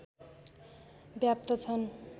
व्याप्त छन्